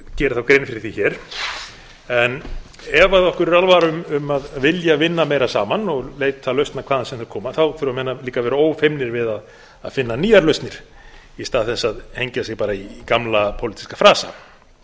geri þá grein fyrir því en ef okkur er alvara um að vilja vinna meira saman og leita lausna hvaðan sem þær koma þurfa menn líka að vera ófeimnir við að finna nýjar lausnir í stað þess að hengja sig bara í gamla pólitíska frasa